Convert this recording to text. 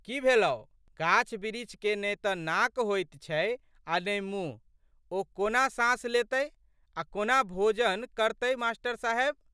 की भेलौ? गाछबिरीछ केने तऽ नाक होइत छै आ ने मुँह ओ कोना साँस लेतै आ कोना भोजन करतै मास्टर साहेब।